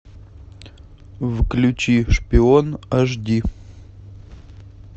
включи шпион аш ди